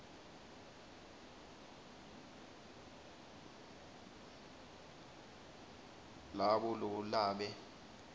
labo lo labe